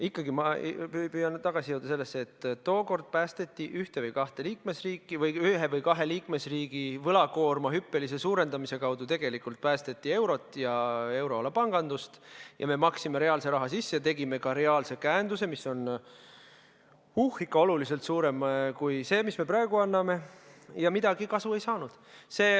Ikkagi püüan ma tagasi jõuda selle juurde, et tookord päästeti ühte või kahte liikmesriiki või ühe või kahe liikmesriigi võlakoorma hüppelise suurendamise kaudu tegelikult päästeti eurot ja euroala pangandust, me maksime reaalse raha sisse ja tegime ka reaalse käenduse, mis on ikka oluliselt suurem kui see, mis me praegu anname, ja mingit kasu ei saanud.